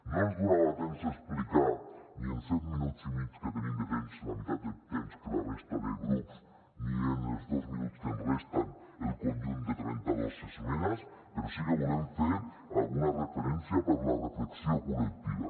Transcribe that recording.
no ens donava temps a explicar ni en els set minuts i mig que teníem de temps la meitat de temps que la resta de grups ni en els dos minuts que ens resten el conjunt de trenta dos esmenes però sí que volem fer alguna referència per a la reflexió col·lectiva